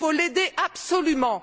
Il faut l'aider absolument!